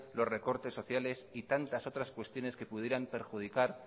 los recortes sociales y tantas otras cuestiones que pudieran perjudicar